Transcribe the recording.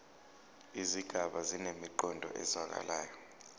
izigaba zinemiqondo ezwakalayo